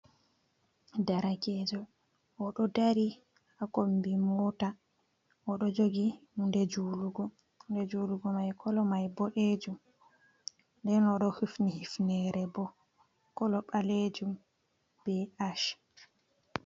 Darakejo oɗo dari hakombi mota oɗo jogi hude julugo, hunde julugo mai kolo mai boɗejum, nden oɗo hufni hifnere bo kolo ɓalejum be ash.